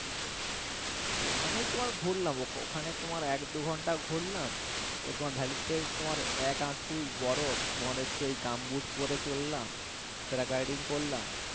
ওখানেই তোমার ঘুরলাম ওখানে তোমার এক দুই ঘন্টা ঘুরলাম তোমার valley তে তোমার এক হাটু বরফ তোমার হচ্ছে ওই gumboot পরে চললাম paragliding করলাম